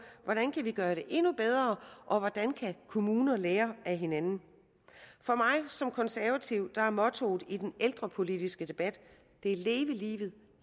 hvordan vi kan gøre det endnu bedre og hvordan kommuner kan lære af hinanden for mig som konservativ er mottoet i den ældrepolitiske debat leve livet